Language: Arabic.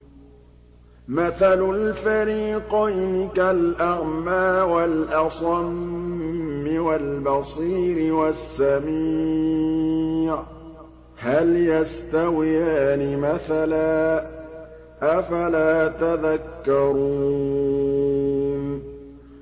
۞ مَثَلُ الْفَرِيقَيْنِ كَالْأَعْمَىٰ وَالْأَصَمِّ وَالْبَصِيرِ وَالسَّمِيعِ ۚ هَلْ يَسْتَوِيَانِ مَثَلًا ۚ أَفَلَا تَذَكَّرُونَ